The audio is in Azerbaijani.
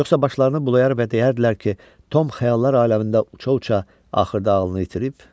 Yoxsa başlarını bulayar və deyərdilər ki, Tom xəyallar aləmində uça-uça axırda ağlını itirib?